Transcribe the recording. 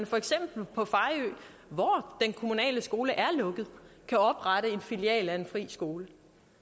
for eksempel på fejø hvor den kommunale skole er lukket kan oprette en filial af en fri skole